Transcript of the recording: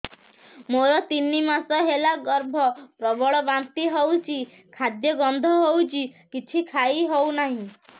ମୋର ତିନି ମାସ ହେଲା ଗର୍ଭ ପ୍ରବଳ ବାନ୍ତି ହଉଚି ଖାଦ୍ୟ ଗନ୍ଧ ହଉଚି କିଛି ଖାଇ ହଉନାହିଁ